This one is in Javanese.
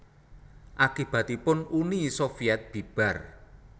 Akibatipun Uni Sovyèt bibar